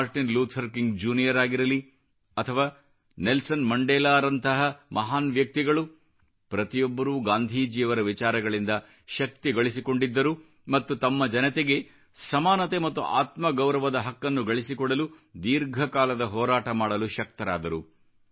Martin Luther King junior ಆಗಿರಲಿ ಅಥವಾ Nelson ಮಂಡೇಲಾರವರಂತಹ ಮಹಾನ್ ವ್ಯಕ್ತಿಗಳು ಪ್ರತಿಯೊಬ್ಬರೂ ಗಾಂಧೀಜಿಯವರ ವಿಚಾರಗಳಿಂದ ಶಕ್ತಿ ಗಳಿಸಿಕೊಂಡಿದ್ದರು ಮತ್ತು ತಮ್ಮ ಜನತೆಗೆ ಸಮಾನತೆ ಮತ್ತು ಆತ್ಮಗೌರವದ ಹಕ್ಕನ್ನು ಗಳಿಸಿಕೊಡಲು ದೀರ್ಘಕಾಲದ ಹೋರಾಟ ಮಾಡಲು ಶಕ್ತರಾದರು